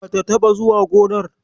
Bata taɓa zuwa gonar.